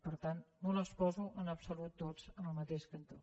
per tant no les poso en absolut totes en el mateix cantó